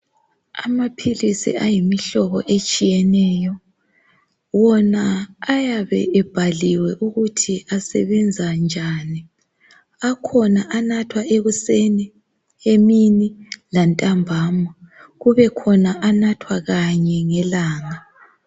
Amaphilisi ayimihlobo etshiyeneyo. Wona ayabe ebhaliwe ukuthi asebenza njani. Akhona anathwa ekuseni, emini lantambama. Kubekhona anathwa kanye ngelanga.